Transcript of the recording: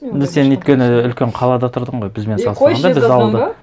сен өйткені үлкен қалада тұрдың ғой бізбен салыстырғанда біз ауылда